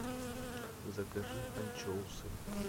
закажи анчоусы